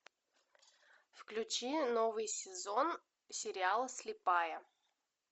включи новый сезон сериала слепая